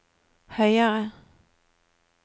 høyere